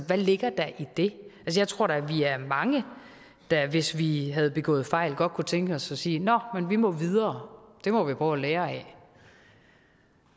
hvad ligger der i det jeg tror da vi er mange der hvis vi havde begået fejl godt kunne tænke os at sige nå men vi må videre det må vi prøve at lære af